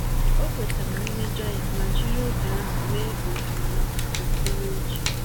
Ọ kwetara mmejọ ya ma jiri oge ahụ mee ohere maka uto n’uche.